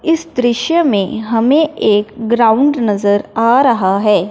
इस दृश्य में हमें एक ग्राउंड नजर आ रहा है।